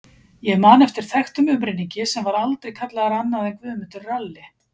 Ég man eftir þekktum umrenningi sem var aldrei kallaður annað en Guðmundur ralli.